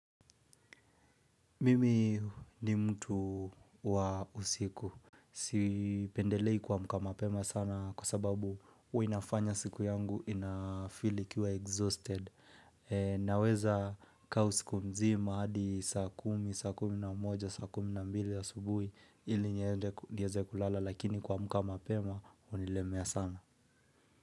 Mimi ni mtu wa usiku. Sipendelei kuamuka mapema sana kwa sababu huwa inafanya siku yangu inafili ikiwa exhausted. Naweza kaa usiku mzima hadi saa kumi, saa kumi na mmoja, saa kumi na mbili asubuhi ili niende kuongeza kulala lakini kuamuka mapema unilemea sana.